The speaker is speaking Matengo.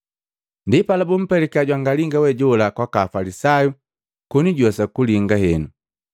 Ndipala bumpelika jwangalinga we jola kwaka Afalisayu koni juwesa kulinga henu.